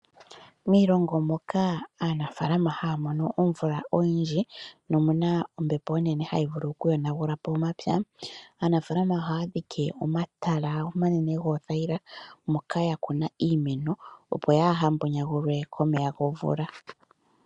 Miilongo moka aanafaalama haya mono omvula oyindji nomu na ombepo onene hayi vulu okuyonagula po omapya, aanafaalama ohaya dhike omatala omanene goothayila moka ya kuna iimeno, opo yaa ha mbonyagulwe komeya gomvula.